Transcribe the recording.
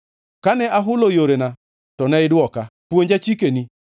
Kane ahulo yorena to ne idwoka; puonja chikeni.